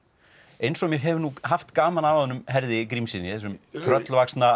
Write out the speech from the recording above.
eins og ég hef nú haft gaman af honum Herði Grímssyni þessum